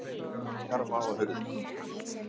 Gluggakarma og hurðir.